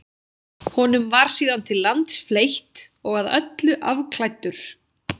Honum var síðan til lands fleytt og að öllu afklæddur.